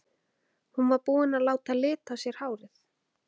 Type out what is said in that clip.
Hún var búin að láta lita á sér hárið!